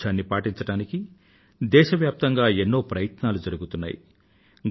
పారిశుధ్యాన్ని పాటించడానికి దేశవ్యాప్తంగా ఎన్నో ప్రయత్నాలు జరుగుతున్నాయి